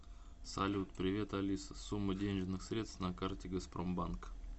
салют привет алиса сумма денежных средств на карте газпромбанк